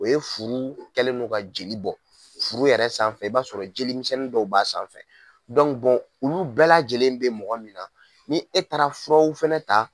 O ye furu kɛlen no ka jeli bɔ furu yɛrɛ sanfɛ i b'a sɔrɔ jeli misɛnnin dɔw b'a sanfɛ olu bɛɛ lajɛlen bɛ mɔgɔ min na ni e taara furaw fɛnɛ ta